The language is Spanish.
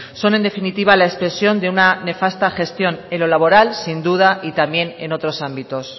son en definitiva la expresión de una nefasta gestión en lo laboral sin duda y también en otros ámbitos